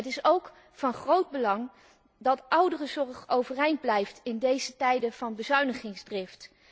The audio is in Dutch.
Het is ook van groot belang dat ouderenzorg overeind blijft in deze tijden van bezuinigingsdrift.